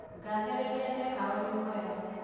Ngathĩrĩria ndeka ũndũ mwega